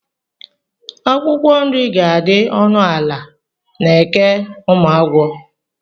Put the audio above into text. Akwụkwọ nri ga-adị ọnụ ala na Eke Ụmụagwọ.